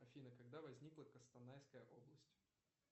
афина когда возникла костанайская область